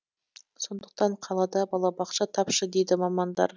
сондықтан қалада балабақша тапшы дейді мамандар